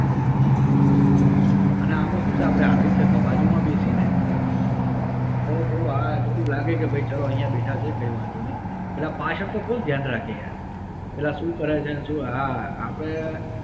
હ હ હ અને આમાં શું છે આપડે હાર્દિક સાહેબ ની બાજુ માં બેસીને તો થોડું હા થોડુ લાગે કે ભાઈ ચલો અહિયાં બેઠા છે કઈ વાંધો નઇ પેલા પાછડતો કોણ ધ્યાન રાખે યાર. શું કરે છે ને શું